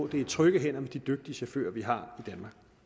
det er i trygge hænder med de dygtige chauffører vi har